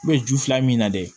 ju fila min na dɛ